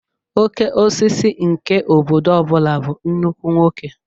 Okeosisi nke obodo ọbula bụ nnukwu nwoke